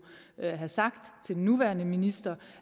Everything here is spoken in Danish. have sagt til den nuværende minister